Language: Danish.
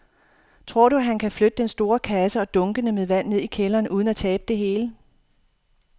Tror du, at han kan flytte den store kasse og dunkene med vand ned i kælderen uden at tabe det hele?